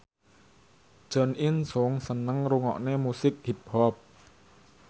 Jo In Sung seneng ngrungokne musik hip hop